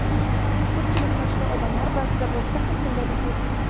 Ko‘pchilik mashhur odamlar ba’zida bo‘lsa ham, kundalik yuritgan.